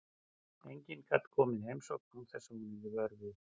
Enginn gat komið í heimsókn án þess að hún yrði vör við.